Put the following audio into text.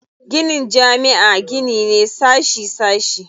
Ginin jami'a gini ne sashi sashi.